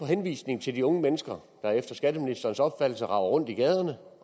henvisningen til de unge mennesker der efter skatteministerens opfattelse raver rundt i gaderne